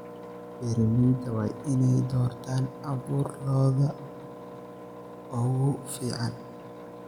Beeralayda waa inay doortaan abuur lo'da ugu fiican.